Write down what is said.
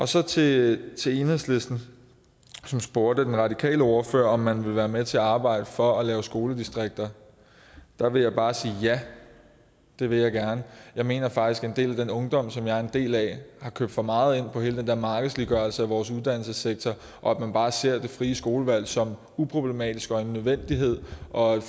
så til til enhedslisten som spurgte den radikale ordfører om man vil være med til at arbejde for at lave skoledistrikter der vil jeg bare sige ja det vil jeg gerne jeg mener faktisk at en del af den ungdom som jeg er en del af har købt for meget ind på hele den der markedsliggørelse af vores uddannelsessektor og at man bare ser det frie skolevalg som uproblematisk og en nødvendighed og